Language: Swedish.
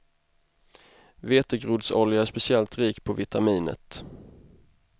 Vetegroddsolja är speciellt rik på vitaminet.